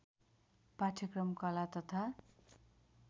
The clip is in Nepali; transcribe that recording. पाठ्यक्रम कला तथा